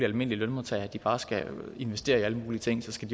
almindelige lønmodtagere at de bare skal investere i alle mulige ting skal